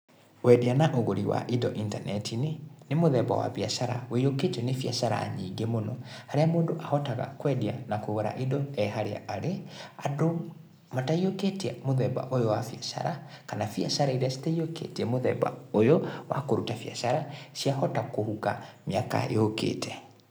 Wendia na ũgũri wa indo intaneti-inĩ, nĩ mũthemba wa biacara wũiyũkĩtio nĩ biacara nyingĩ mũno, harĩa mũndũ ahotaga kwendia na kũgũra indo e harĩa arĩ, andũ mataiyũkĩtie mũthemba ũyũ wa biacara, kana biacara iria citaiyũkĩtie mũthemba ũyũ wa kũruta biacara, ciahota kũhuka mĩaka yũkĩte.